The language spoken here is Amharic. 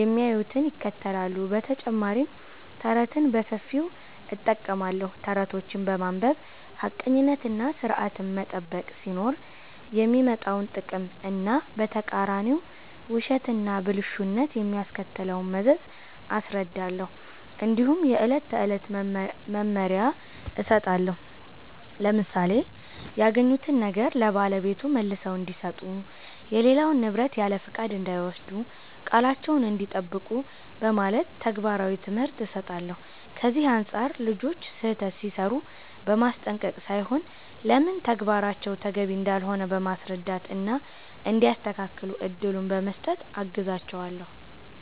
የሚያዩትን ይከተላሉ። በተጨማሪም ተረትን በሰፊው እጠቀማለሁ። ተረቶችን በማንበብ ሐቀኝነትና ሥርዐትን መጠበቅ ሲኖር የሚመጣውን ጥቅም እና በተቃራኒው ውሸትና ብልሹነት የሚያስከትለውን መዘዝ አስረዳለሁ። እንዲሁም የዕለት ተዕለት መመሪያ እሰጣለሁ፣ ለምሳሌ “ያገኙትን ነገር ለባለቤቱ መልሰው እንዲሰጡ”፣ “የሌላውን ንብረት ያለፍቃድ እንዳይወስዱ”፣ “ቃላቸዉን እንዲጠብቁ ” በማለት ተግባራዊ ትምህርት እሰጣለሁ። ከዚህ አንጻር ልጆች ስህተት ሲሠሩ በማስጠንቀቅ ሳይሆን ለምን ተግባራቸው ተገቢ እንዳልሆነ በማስረዳት እና እንዲያስተካክሉ እድል በመስጠት አግዛቸዋለሁ።